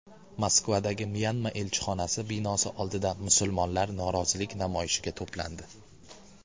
Moskvadagi Myanma elchixonasi binosi oldida musulmonlar norozilik namoyishiga to‘plandi.